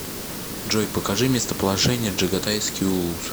джой покажи местоположение джагатайский улус